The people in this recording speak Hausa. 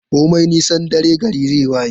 Komi nisan dare, gari zai waye.